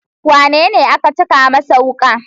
Wanene aka caka masa wuka?